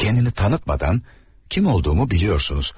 Özünü tanıtmadan kim olduğumu bilirsiniz.